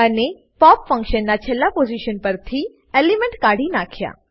અને pop function ના છેલ્લા પોઝીશન પરથી એલિમેન્ટ કાઢી નાખ્યા